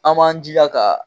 An b'an jija ka